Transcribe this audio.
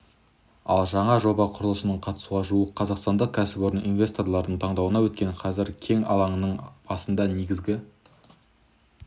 ал жаңа жоба құрылысына қатысуға жуық қазақстандық кәсіпорын инвесторлардың таңдауынан өткен қазір кен алаңының басында негізгі